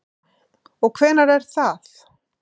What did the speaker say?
Anna: Og hvenær er það?